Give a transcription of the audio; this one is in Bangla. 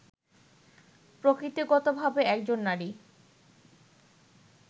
প্রকৃতিগতভাবে একজন নারী